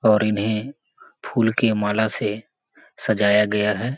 और इन्हें फ़ूल के माला से सजाया गया है ।